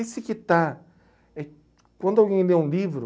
Esse que está... Eh, quando alguém lê um livro...